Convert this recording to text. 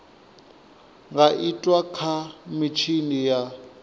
nga itwa kha mitshini ya